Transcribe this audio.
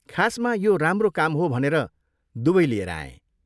खासमा यो राम्रो काम हो भनेर दुवै लिएर आएँ।